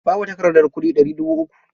Babu takardar kuɗi ɗari dubu uku.